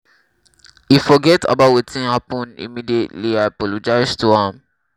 he forget about wetin happen immediately i apologize to am